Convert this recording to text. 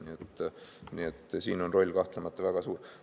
Siin on põllumajanduse roll kahtlemata väga suur.